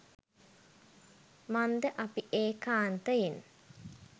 මන්ද අපි ඒකාන්තයෙන්